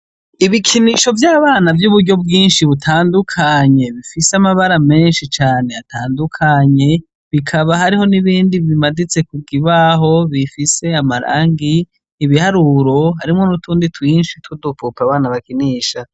Ibikinisho vy'abana vy'uburyo bwinshi butandukanye, bifise amabara menshi can'atandukanye bikaba hariho n'ibindi bimaditse kukibaho bifise amarangi, ibiharuro harimwo n'utundi twinshi tw'udupup'abana bakinisha